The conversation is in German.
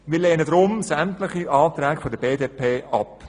Wir lehnen deshalb sämtliche Anträge der BDP ab.